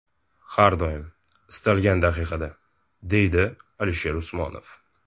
Har doim, istalgan daqiqada”, deydi Alisher Usmonov.